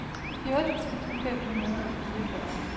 fjorten tusind fem hundrede og fireogfyrre